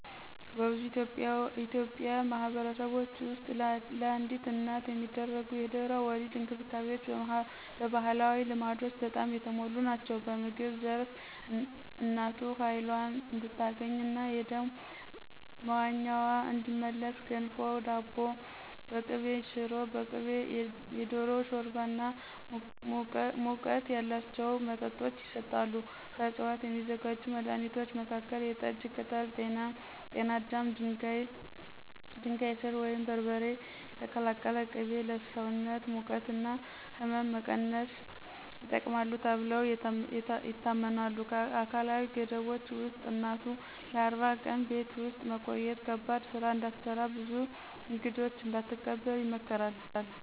በብዙ የኢትዮጵያ ማኅበረሰቦች ውስጥ ለአዲስ እናት የሚደረጉ የድህረ-ወሊድ እንክብካቤዎች በባህላዊ ልማዶች በጣም የተሞሉ ናቸው። በምግብ ዘርፍ እናቱ ኃይሏን እንድታገኝና የደም መቶኛዋ እንዲመለስ ገንፎ፣ ዳቦ በቅቤ፣ ሽሮ በቅቤ፣ የዶሮ ሾርባ እና ሙቀት ያላቸው መጠጦች ይሰጣሉ። ከዕፅዋት የሚዘጋጁ መድኃኒቶች መካከል የጠጅ ቅጠል፣ ጤና አዳም፣ ድንጋይ ሥር ወይም በርበሬ የተቀላቀለ ቅቤ ለሰውነት ሙቀት እና ሕመም መቀነስ ይጠቅማሉ ተብለው ይታመናሉ። አካላዊ ገደቦች ውስጥ እናቱ ለ40 ቀን ቤት ውስጥ መቆየት፣ ከባድ ሥራ እንዳትሰራ፣ ብዙ እንግዶች እንዳትቀበል ይመከራል።